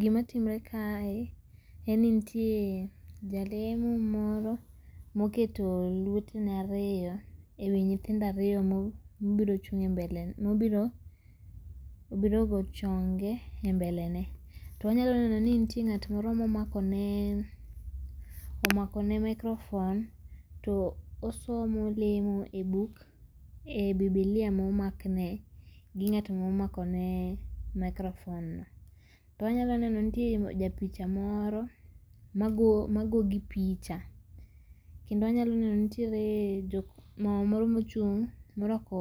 Gima timre kae, en ni nitie Jalemo moro moketo lwetne ariyo e wii nyithindo ariyo mo mobiro chung' e mbele ne mobiro obiro go chonge e mbele ne. To wanyalo neno ni nitie ng'at moro momako ne omako ne microphone to osomo, olemo e book e bibilia momakne gi ng'at momako ne microphone no. To wanyalo neno nitie japicha moro magoo gi picha. Kendo wanyalo neno nitiere jo mama moro mochung' morwako